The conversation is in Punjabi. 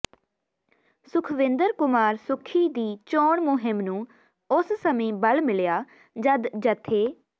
ਸੁਖਵਿੰਦਰ ਕੁਮਾਰ ਸੁੱਖੀ ਦੀ ਚੋਣ ਮੁਹਿੰਮ ਨੂੰ ਉਸ ਸਮੇਂ ਬਲ ਮਿਲਿਆ ਜਦ ਜਥੇ